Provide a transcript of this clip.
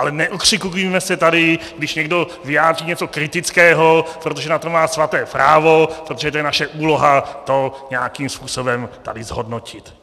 Ale neokřikujme se tady, když někdo vyjádří něco kritického, protože na to má svaté právo, protože to je naše úloha to nějakým způsobem tady zhodnotit.